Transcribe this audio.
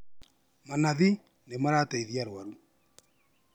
Manathi nĩmarateithia arwaru